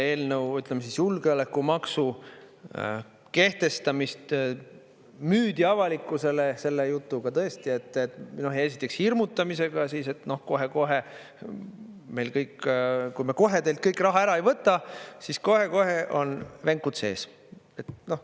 Ütleme, julgeolekumaksu kehtestamist müüdi avalikkusele selle jutuga tõesti, esiteks hirmutamisega, et kohe-kohe, kui me kohe teilt kõik raha ära ei võta, siis kohe-kohe on venkud sees.